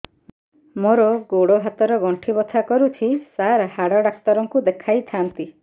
ମୋର ଗୋଡ ହାତ ର ଗଣ୍ଠି ବଥା କରୁଛି ସାର ହାଡ଼ ଡାକ୍ତର ଙ୍କୁ ଦେଖାଇ ଥାନ୍ତି